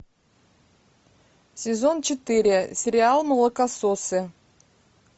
сезон четыре сериал молокососы